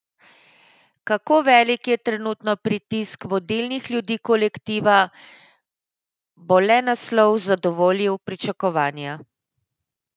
Kako velik je trenutno pritisk vodilnih ljudi kolektiva, bo le naslov zadovoljil pričakovanja?